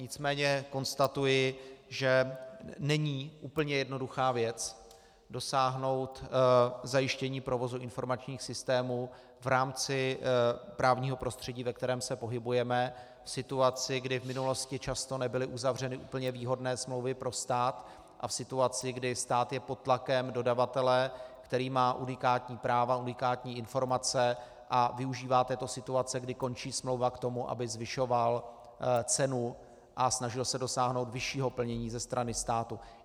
Nicméně konstatuji, že není úplně jednoduchá věc dosáhnout zajištění provozu informačních systémů v rámci právního prostředí, ve kterém se pohybujeme, v situaci, kdy v minulosti často nebyly uzavřeny úplně výhodné smlouvy pro stát, a v situaci, kdy stát je pod tlakem dodavatele, který má unikátní práva, unikátní informace a využívá této situace, kdy končí smlouva, k tomu, aby zvyšoval cenu a snažil se dosáhnout vyššího plnění ze strany státu.